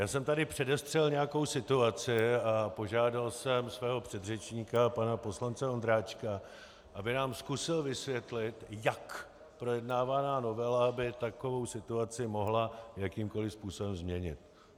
Já jsem tady předestřel nějakou situaci a požádal jsem svého předřečníka pana poslance Ondráčka, aby nám zkusil vysvětlit, jak projednávaná novela by takovou situaci mohla jakýmkoli způsobem změnit.